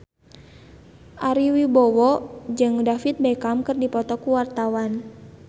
Ari Wibowo jeung David Beckham keur dipoto ku wartawan